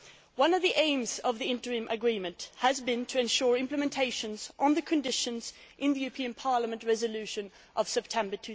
One of the aims of the interim agreement has been to ensure implementation of the conditions in the European Parliament resolution of September